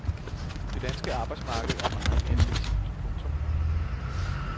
Det danske arbejdsmarked er meget mere fleksibelt. punktum